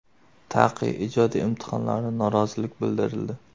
TAQI ijodiy imtihonlaridan norozilik bildirildi .